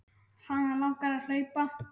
Hana langar að hlaupa.